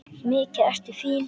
Mikið ertu fín!